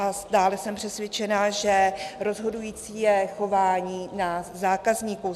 A dále jsem přesvědčena, že rozhodující je chování nás zákazníků.